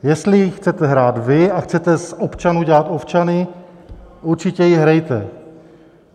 Jestli ji chcete hrát vy a chcete z občanů dělat ovčany, určitě ji hrajte.